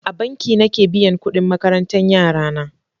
A banki nake biyan kudin makarantan yarana.